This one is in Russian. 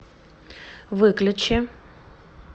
выключи